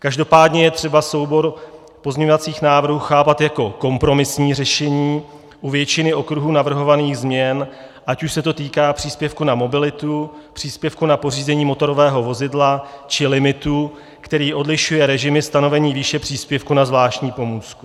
Každopádně je třeba soubor pozměňovacích návrhů chápat jako kompromisní řešení u většiny okruhů navrhovaných změn, ať už se to týká příspěvku na mobilitu, příspěvku na pořízení motorového vozidla, či limitu, který odlišuje režimy stanovení výše příspěvku na zvláštní pomůcku.